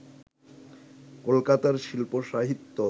কলকাতার শিল্প-সাহিত্য